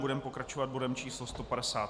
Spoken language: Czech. Budeme pokračovat bodem číslo